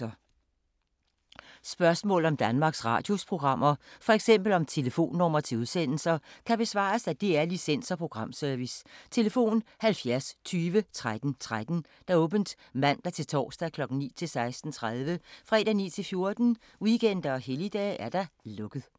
Spørgsmål om Danmarks Radios programmer, f.eks. om telefonnumre til udsendelser, kan besvares af DR Licens- og Programservice: tlf. 70 20 13 13, åbent mandag-torsdag 9.00-16.30, fredag 9.00-14.00, weekender og helligdage: lukket.